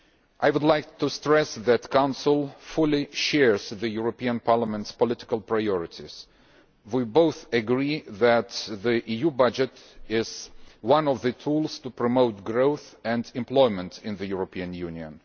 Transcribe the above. I would like to stress that the Council fully shares the European Parliament's political priorities. We both agree that the EU budget is one of the tools to promote growth and employment in the European Union.